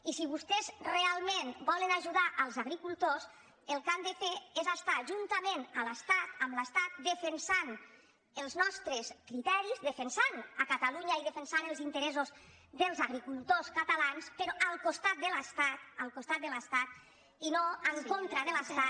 i si vostès realment volen ajudar els agricultors el que han de fer és es·tar juntament amb l’estat defensant els nostres crite·ris defensant catalunya i defensant els interessos dels agricultors catalans però al costat de l’estat al costat de l’estat i no en contra de l’estat